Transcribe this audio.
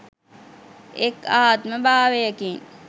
එක් ආත්ම භාවයකින්